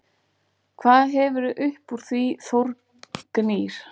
Hvað hefurðu uppúr því Þórgnýr?!